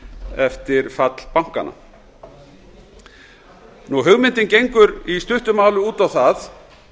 eftir fall bankanna hugmyndin gengur í stuttu máli út á það